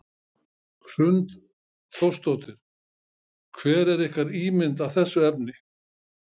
Hrund Þórsdóttir: Hver er ykkar ímynd af þessu efni?